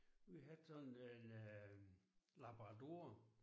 Vi havde sådan en øh labrador